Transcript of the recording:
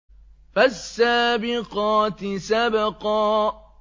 فَالسَّابِقَاتِ سَبْقًا